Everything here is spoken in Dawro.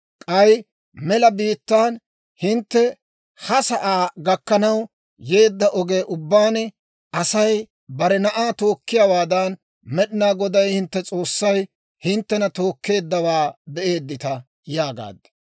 K'ay mela biittaan, hintte ha sa'aa gakkanaw yeedda oge ubbaan, Asay bare na'aa tookkiyaawaadan, Med'inaa Goday hintte S'oossay hinttena tookkeeddawaa be'eedita› yaagaad.